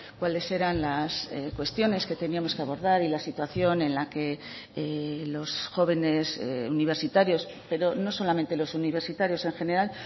cuáles eran las cuestiones que teníamos que abordar y la situación en la que los jóvenes universitarios pero no solamente los universitarios en general